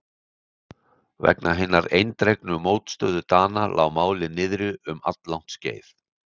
Vegna hinnar eindregnu mótstöðu Dana lá málið niðri um alllangt skeið.